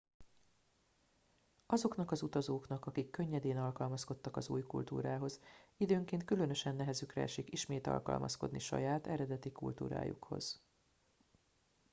azoknak az utazóknak akik könnyedén alkalmazkodtak az új kultúrához időnként különösen nehezükre esik ismét alkalmazkodni saját eredeti kultúrájukhoz